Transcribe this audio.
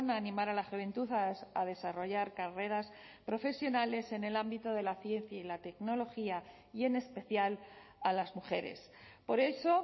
a animar a la juventud a desarrollar carreras profesionales en el ámbito de la ciencia y la tecnología y en especial a las mujeres por eso